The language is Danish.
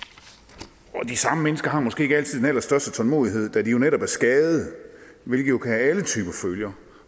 af arbejdsskader og de samme mennesker har måske ikke altid den allerstørste tålmodighed da de jo netop er skadede hvilket jo kan have alle typer følger